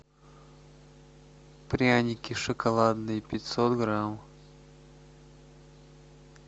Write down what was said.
пряники шоколадные пятьсот грамм